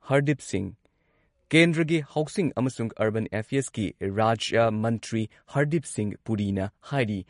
ꯍꯔꯗꯤꯞ ꯁꯤꯡꯍ ꯀꯦꯟꯗ꯭ꯔꯒꯤ ꯍꯥꯎꯁꯤꯡ ꯑꯃꯁꯨꯡ ꯑꯔꯕꯟ ꯑꯦꯐꯤꯌꯔꯁꯀꯤ ꯔꯥꯖ꯭ꯌ ꯃꯟꯇ꯭ꯔꯤ ꯍꯔꯗꯤꯞ ꯁꯤꯡꯍ ꯄꯨꯔꯤꯅ ꯍꯥꯏꯔꯤ